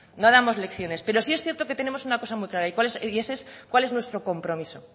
no damos lecciones pero sí es cierto que tenemos una cosa muy clara y ese es cuál es nuestro compromiso